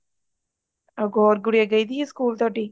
ਹੋਰ ਗੂੜੀਆ ਗਈ ਹੋਈ ਆ ਸਕੂਲ ਤੁਹਾਡੀ